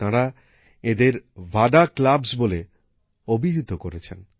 তাঁরা এঁদের ভাডা ক্লাবস্ বলে অভিহিত করেছেন